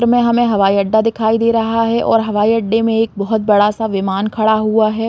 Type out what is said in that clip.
में हमें हवाईअड्डा दिखाई दे रहा है और हवाईअड्डे में एक बहोत बड़ा सा विमान खड़ा हुआ है।